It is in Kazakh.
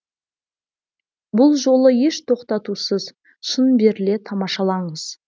бұл жолы еш тоқтатусыз шын беріле тамашалаңыз